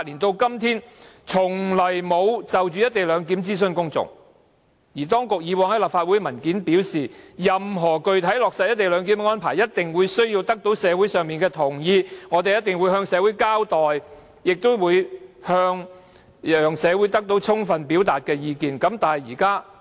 當局以往曾在提交立法會的文件表示，任何具體落實"一地兩檢"安排的方案，一定需要得到社會上同意。當局一定會向社會交代，亦會讓社會有充分機會表達意見，但為何現在卻是零諮詢呢？